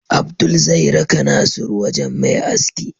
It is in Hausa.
Abdul zai raka nasiru wajan Me aski